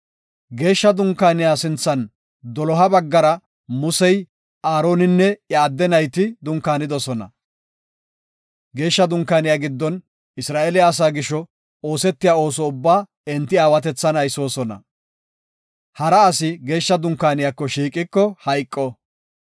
Geeshsha Dunkaaniya sinthan doloha baggara Musey, Aaroninne iya adde nayti dunkaanidosona. Geeshsha Dunkaaniya giddon Isra7eela asaa gisho oosetiya ooso ubbaa enti aawatethan aysoosona. Hara asi Geeshsha Dunkaaniyako shiiqiko hayqo.